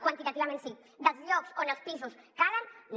quantitativament sí dels llocs on els pisos calen no